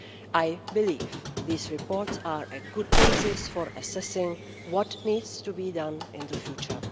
I believe these reports are a good basis for assessing what needs to be done in the future.